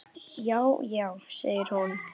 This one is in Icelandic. Já, já segir hún.